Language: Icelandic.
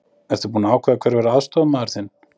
Ertu búinn að ákveða hver verður aðstoðarmaður þinn?